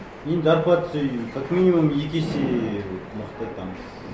енді зарплатасы как минимум екі есе мықты там